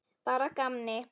Bara að gamni.